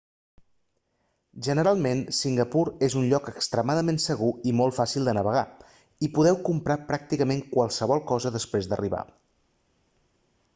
generalment singapur és un lloc extremadament segur i molt fàcil de navegar i podeu comprar pràcticament qualsevol cosa després d'arribar